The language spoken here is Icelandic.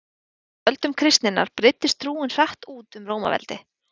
Á fyrstu öldum kristninnar breiddist trúin hratt út um Rómaveldi.